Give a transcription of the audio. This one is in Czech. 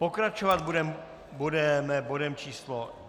Pokračovat budeme bodem číslo